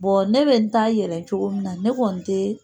ne bɛ n taa yɛlɛ cogo min na ne kɔni tɛ